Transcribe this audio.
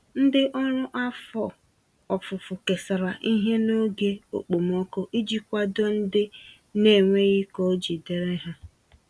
Ndị ọrụ afọ ofufo kesara ihe n'oge okpomọkụ iji kwado ndị naenweghị k'oji dịrị há